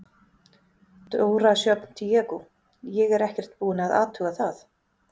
Dóra Sjöfn Diego: Ég er ekkert búin að athuga það?